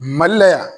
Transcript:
Mali la yan